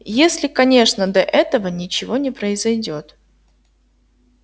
если конечно до этого ничего не произойдёт